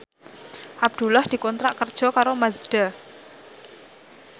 Abdullah dikontrak kerja karo Mazda